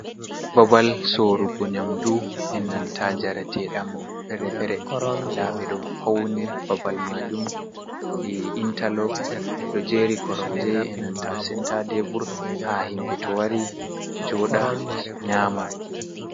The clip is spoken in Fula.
Babal soorugo nƴamdu, e nanta njareteeɗam feere-feere. Nda ɓe ɗo fauni babal maajum, waɗi intalog, ɗo jeeri koromje e nanta senta tebur haa himɓe to wari joɗa nƴama.